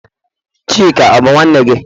Chika bu nwanne gi?